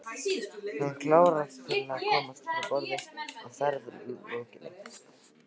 Hann hlakkar til að komast frá borði að ferð lokinni.